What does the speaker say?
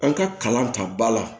An ka kalan ta ba la